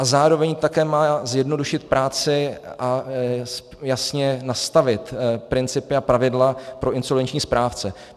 A zároveň také má zjednodušit práci a jasně nastavit principy a pravidla pro insolvenční správce.